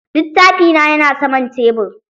Littafi na yana saman tebur.